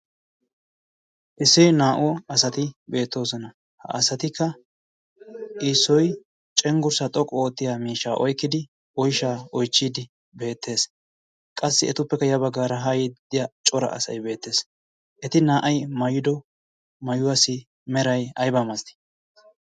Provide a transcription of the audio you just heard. Issi naa"u asati beettosona. ha asatikka issoy cenggursaa xooqu oottiyaa miishshsaa oykkidi oyshhshaa oychchiidi beettees. qassi etuppekka ya baggaara haa yiidi cora asay beettees. eti na"ay maayido mayuwaasi meray aybaa milaatii?